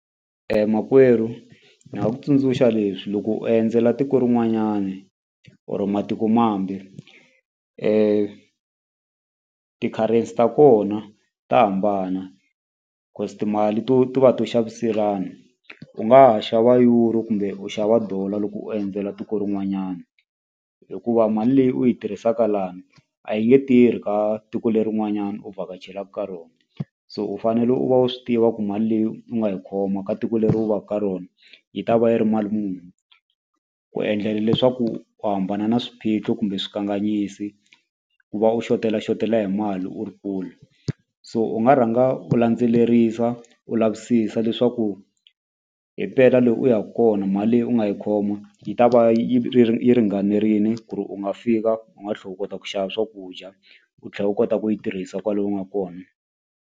Makwerhu ni nga ku tsundzuxa leswi loko u endzela tiko rin'wanyani or matikomambe ti-currency ta kona ta hambana timali to to va to xaviselana u nga ha xava euro kumbe u xava dollar loko u endzela tiko rin'wanyana hikuva mali leyi u yi tirhisaka lani a yi nge tirhi ka tiko lerin'wanyani u vhakachelaku ka rona so u fanele u va u swi tiva ku mali leyi u nga yi khoma ka tiko leri u va ku ka rona yi ta va yi ri mali muni ku endlela leswaku u hambana na swiphiqo kumbe swikanganyisi ku va u xotelaxotela hi mali u ri kule so u nga rhanga u landzelerisa u lavisisa leswaku hi mpela le u yaku kona mali leyi u nga yi khoma yi ta va yi yi ringanerile ku ri u nga fika u nga tlhe u kota ku xava swakudya u tlhe u kota ku yi tirhisa kwale u nga kona.